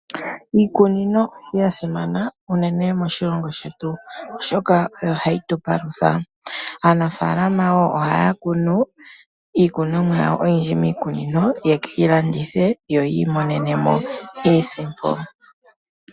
Iikunino oyasimana moshilongo oshoka oyo hayi palutha aantu. Aanafaalama ohaya kunu iikunomwa oyindji miikunino ya kalandithe yiimonene mo iisimpo.